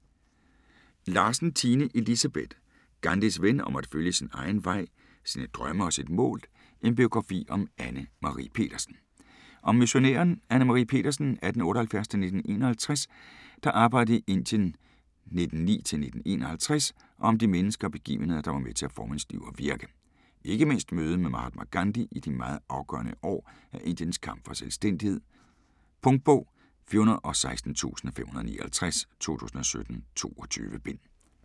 Larsen, Tine Elisabeth: Gandhis ven: om at følge sin egen vej, sine drømme og sit mål: en biografi om Anne Marie Petersen Om missionæren Anne Marie Petersen (1878-1951), der arbejdede i Indien 1909-1951 og om de mennesker og begivenheder der var med til at forme hendes liv og virke, ikke mindst mødet med Mahatma Gandhi i de meget afgørende år af Indiens kamp for selvstændighed. Punktbog 416559 2017. 22 bind.